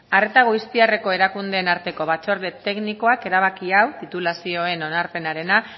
arreta goiztiarreko erakundeen arteko batzorde teknikoak erabaki hau titulazioen onarpenarena